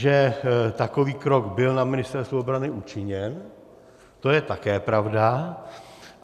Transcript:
Že takový krok byl na Ministerstvu obrany učiněn, to je také pravda.